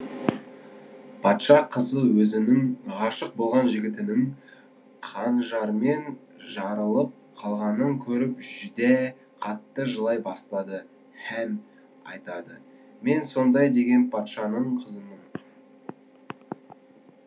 патша қызы өзінің ғашық болған жігітінің қанжармен жарылып қалғанын көріп жүдә қатты жылай бастады һәм айтады мен сондай деген патшаның қызымын